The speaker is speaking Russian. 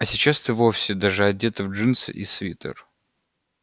а сейчас ты вовсе даже одета в джинсы и свитер